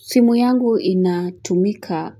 Simu yangu inatumika